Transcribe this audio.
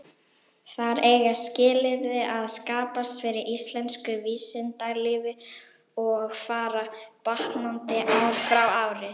Þar eiga skilyrði að skapast fyrir íslensku vísindalífi, og fara batnandi ár frá ári.